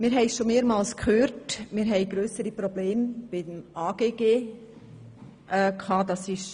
Wir haben schon mehrmals gehört, dass beim AGG grössere Probleme bestanden haben.